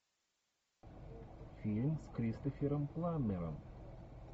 фильм с кристофером пламмером